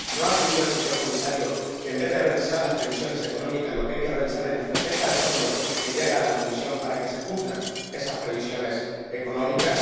¿No cree el señor Comisario que, en vez de revisar las previsiones económicas, lo que hay que revisar es la estrategia de fondo que lleva la Comisión para que se cumplan esas previsiones económicas?